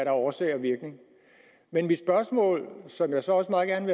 årsag og virkning men mit spørgsmål som jeg så også meget gerne